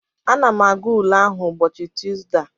Ana m aga ule ahụ ụbọchị Tusdee a